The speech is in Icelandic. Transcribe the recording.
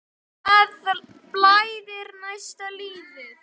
Það blæðir næsta lítið.